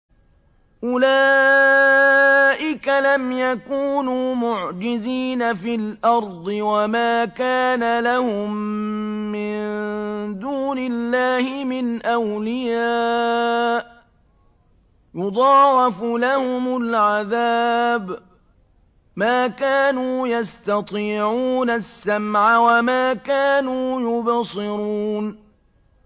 أُولَٰئِكَ لَمْ يَكُونُوا مُعْجِزِينَ فِي الْأَرْضِ وَمَا كَانَ لَهُم مِّن دُونِ اللَّهِ مِنْ أَوْلِيَاءَ ۘ يُضَاعَفُ لَهُمُ الْعَذَابُ ۚ مَا كَانُوا يَسْتَطِيعُونَ السَّمْعَ وَمَا كَانُوا يُبْصِرُونَ